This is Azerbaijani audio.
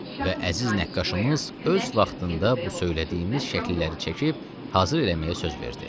Və əziz nəqqaşımız öz vaxtında bu söylədiyimiz şəkilləri çəkib hazır eləməyə söz verdi.